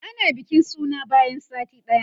ana bikin suna bayan sati ɗaya